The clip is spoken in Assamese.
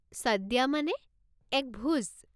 সদ্যা মানে, এক ভোজ?